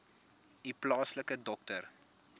u plaaslike dokter